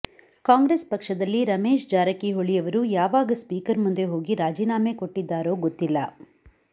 ಕಾಂಗ್ರೆಸ್ ಪಕ್ಷದಲ್ಲಿ ರಮೇಶ್ ಜಾರಕಿಹೊಳಿ ಅವರು ಯಾವಾಗ ಸ್ಪೀಕರ್ ಮುಂದೆ ಹೋಗಿ ರಾಜೀನಾಮೆ ಕೊಟ್ಟಿದ್ದಾರೋ ಗೊತ್ತಿಲ್ಲ